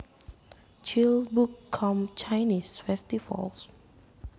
Childbook com Chinese Festivals